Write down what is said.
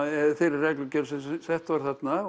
eða þeirri reglugerð sem að sett var þarna